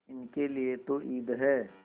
इनके लिए तो ईद है